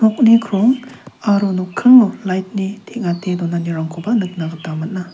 nokni krong aro nokkingo lait ni teng·ate donanirangkoba nikna gita man·a.